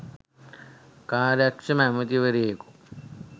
කාර්යක්‍ෂම ඇමතිවරයෙකු